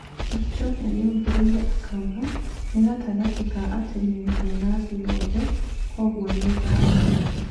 Kipchoge nĩongereire akauga "nĩ gatagatĩ ka ateng'eri ega thĩ yothe, kwoguo nĩ ngatho"